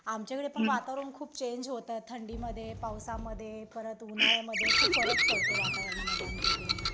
आमच्याकडे पण वातावरण खूप चेंज होतं थंडीमध्ये, पावसामध्ये परत उन्हाळ्यामध्ये खूप फरक पडतो वातावरणामध्ये आमच्याइकडे ही